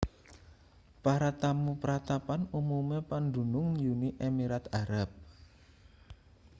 para tamu pratapan umume pandunung uni emirat arab